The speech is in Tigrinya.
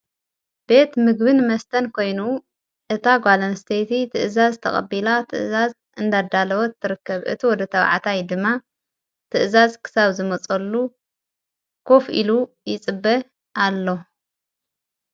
ቤት ምግብን መስተን ኮይኑ እታ ጓለን ስተይቲ ትእዛዝ ተቐቢላ ትእዛዝ እንዳዳለወት ትርከብ እቲ ወደ ተብዓታይ ድማ ትእዛዝ ክሳው ዝመጸሉ ኮፍ ኢሉ ይጽበ ኣሎ::